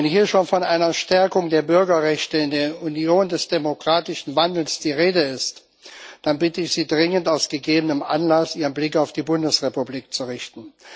Wenn hier schon von einer Stärkung der Bürgerrechte in der Union des demokratischen Wandels die Rede ist, dann bitte ich Sie dringend, aus gegebenem Anlass Ihren Blick auf die Bundesrepublik zu richten.